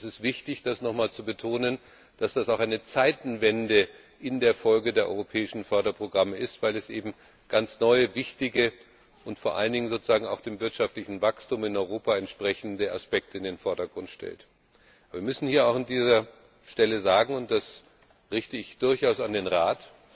Und es ist wichtig, das nochmals zu betonen, dass das in der Folge auch eine Zeitenwende der europäischen Förderprogramme ist, weil das eben ganz neue, wichtige und vor allen Dingen dem wirtschaftlichen Wachstum in Europa entsprechende Aspekte in den Vordergrund gestellt werden. Wir müssen hier auch an dieser Stelle sagen und das richte ich durchaus an den Rat